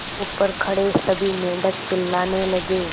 ऊपर खड़े सभी मेढक चिल्लाने लगे